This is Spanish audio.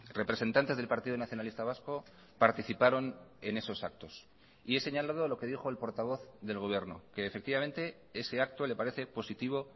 representantes del partido nacionalista vasco participaron en esos actos y he señalado lo que dijo el portavoz del gobierno que efectivamente ese acto le parece positivo